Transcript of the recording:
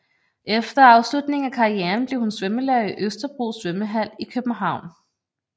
Efter afslutningen af karrieren blev hun svømmelærer i Østerbro Svømmehal i København